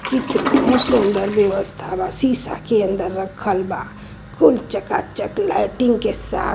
कितना सुंदर व्यवस्था बा। शीशा के अंदर रखल बा। खूब चकाचक लाइटिंग के साथ --